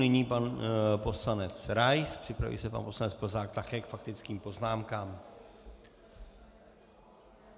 Nyní pan poslanec Rais, připraví se pan poslanec Plzák, také k faktickým poznámkám.